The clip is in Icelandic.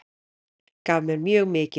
Gaf mér mjög mikið.